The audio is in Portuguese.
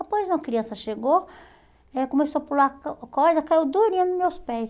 Após uma criança chegou, eh começou a pular corda, caiu durinha nos meus pés.